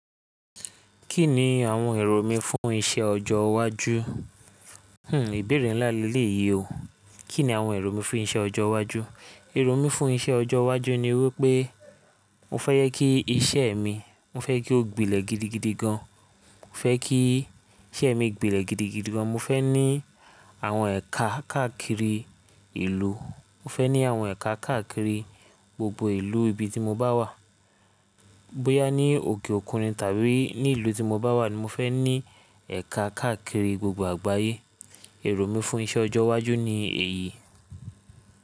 Kí ni àwọn èrò mí fún iṣẹ́ ọjọ́ iwájú? Hmm ìbéèrè ńlá lelèyii o. Kí ni àwọn èrò mí fún iṣẹ́ ọjọ́ iwájú? Èrò mí fún iṣẹ́ ọjọ́ iwájú ni wípé mo fẹ́ jẹ kí iṣẹ́ mi, mo fẹ́ kí ó gbilẹ̀ gidigidi gan. Mo fẹ́ kí iṣẹ́ mi gbilẹ̀ gidigidi gan. Mo fẹ́ ní àwọn ẹ̀ka káàkiri ìlú. Mo fẹ́ ní àwọn ẹ̀ka káàkiri gbogbo ìlú ibi tí mo bá wà. Bóyá ní òkè òkun ni tàbí ní ìlú tí mo bá wà ni mo fẹ́ ní ẹ̀ka káàkiri gbogbo àgbáyé. Èrò mí fún iṣẹ́ ọjọ́ iwájú ni èyí.